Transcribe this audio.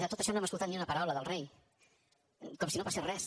de tot això no hem escoltat ni una paraula del rei com si no passés res